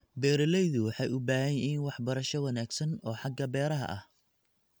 Beeraleydu waxay u baahan yihiin waxbarasho wanaagsan oo xagga beeraha ah.